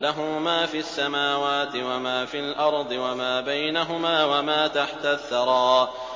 لَهُ مَا فِي السَّمَاوَاتِ وَمَا فِي الْأَرْضِ وَمَا بَيْنَهُمَا وَمَا تَحْتَ الثَّرَىٰ